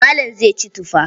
Malam zai ci tufa.